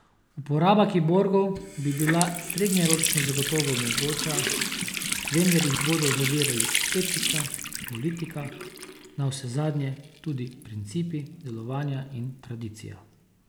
Uporaba kiborgov bi bila srednjeročno zagotovo mogoča, vendar jih bodo zavirali etika, politika, navsezadnje tudi principi delovanja in tradicija.